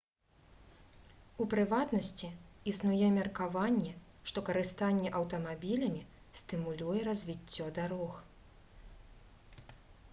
у прыватнасці існуе меркаванне што карыстанне аўтамабілямі стымулюе развіццё дарог